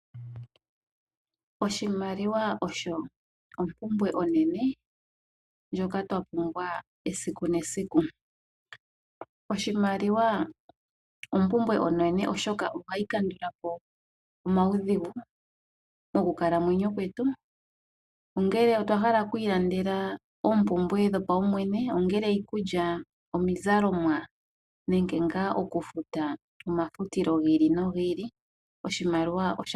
Oshimaliwa osho opumbwe onene ndjoka twa pumbwa esiku nesiku, oshimaliwa opumbwe enene oshoka ohayi kandula po omaudhigu mokukalamwenyo kwetu ongele otwa hala oku ilandela oopumbwe dho paumwene, ongele iikulya, omizalomwa nenge nga okufuta omafutilo gi ili nogi ili oshimaliwa osha pumbiwa.